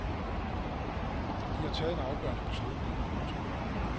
De har taget en afgørende beslutning. punktum